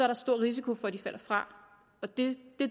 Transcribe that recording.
der stor risiko for at de falder fra og det